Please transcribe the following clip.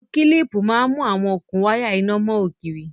Awọn kílípú mà n mú awọn okun wàya iná mọn ogírí.